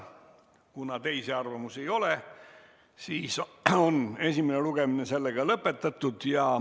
Kuna teisi arvamusi ei ole, siis on esimene lugemine lõpetatud.